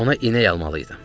Ona inək almalı idim.